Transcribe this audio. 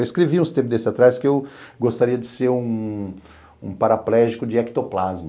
Eu escrevi uns tempos desses atrás que eu gostaria de ser um paraplégico de ectoplasma.